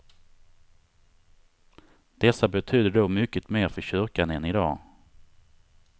Dessa betydde då mycket mer för kyrkan än i dag.